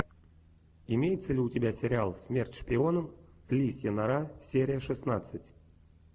имеется ли у тебя сериал смерть шпионам лисья нора серия шестнадцать